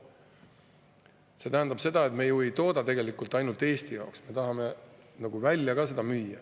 See tähendab, et me ju ei tooda tegelikult ainult Eesti jaoks, me tahame seda ka välja müüa.